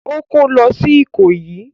Ó kó lọ sí Ìkòyí?